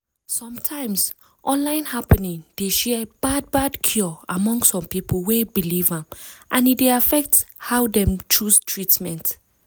sometimes online happening dey share bad bad cure among some people wey believe am and e dey affect how dem chose treatment